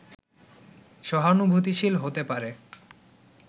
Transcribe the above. সহানুভূতিশীল হতে পারে